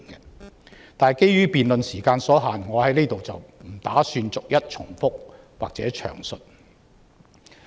可是，基於辯論時間所限，我不打算在此逐一重複或詳述。